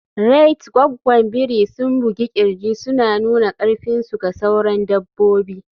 Rait Gwaggwan biri sun bugi kirji suna nuna karfinsu ga sauran dabbobi.